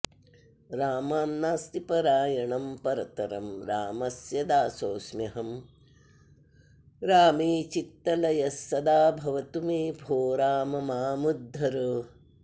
रामान्नास्ति परायणं परतरं रामस्य दासोऽस्म्यहं रामे चित्तलयः सदा भवतु मे भो राम मामुद्धर